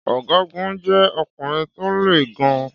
Ọgágun jẹ́ ọkùnrin tó le gan-an.